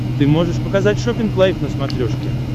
ты можешь показать шоппинг лайф на смотрешке